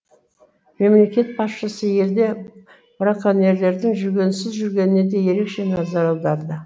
мемлекет басшысы елде браконьерлердің жүгенсіз жүргеніне де ерекше назар аударды